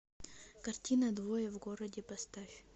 картина двое в городе поставь